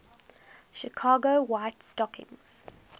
chicago white stockings